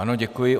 Ano, děkuji.